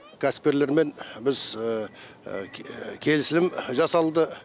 кәсіпкерлермен біз келісілім жасалды